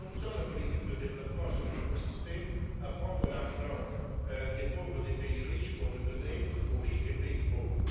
Pendant longtemps, la politique de développement a surtout consisté à prendre l'argent des pauvres des pays riches pour le donner aux riches des pays pauvres.